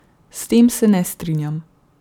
S tem se ne strinjam.